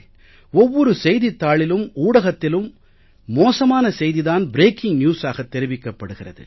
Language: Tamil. ஒவ்வொரு செய்தித் தாளிலும் ஊடகத்திலும் மோசமான செய்தி தான் பிரேக்கிங் newsஆக தெரிவிக்கப்படுகிறது